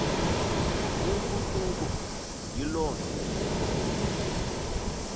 impucuko yilo nto